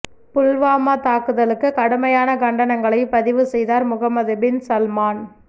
புல்வாமா தாக்குதலுக்கு கடுமையான கண்டனங்களை பதிவு செய்தார் முகமது பின் சல்மான்